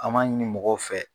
An ma ɲini mɔgɔw fɛ.